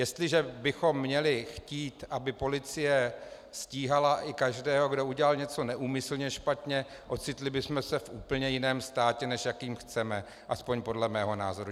Jestliže bychom měli chtít, aby policie stíhala i každého, kdo udělal něco neúmyslně špatně, ocitli bychom se v úplně jiném státě, než jaký chceme, aspoň podle mého názoru.